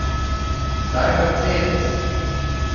Zdaj Mercedes.